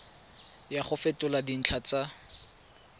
ya go fetola dintlha tsa